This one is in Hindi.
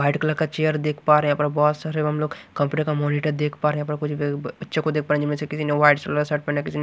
वाइट कलर का चेयर देख पा रहे हैंयहां पर बहुत सारे हम लोग कंप्यूटर का मॉनिटर देख पा रहे हैं यहां पर कुछ गब् बच्चों को देख पा रहे हैंजिनमें से किसी ने वाइट कलर का शर्ट पहना किसी ने --